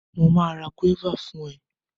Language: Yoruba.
Mo ma ra gúọ́và fún ẹ.